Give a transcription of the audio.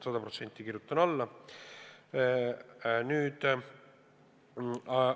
Sada protsenti kirjutan alla!